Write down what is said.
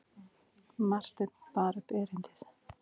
Marteinn bar upp erindið.